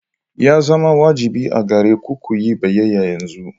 Ya zama wajibi a gare ku ku yi biyayya yanzu.